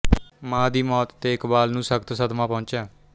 ਮਾਂ ਦੀ ਮੌਤ ਤੇ ਇਕਬਾਲ ਨੂੰ ਸਖ਼ਤ ਸਦਮਾ ਪਹੁੰਚਿਆ